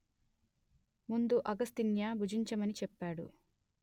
ముందు అగస్త్య్ని భుజించమని చెప్పాడు